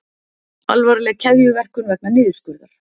Alvarleg keðjuverkun vegna niðurskurðar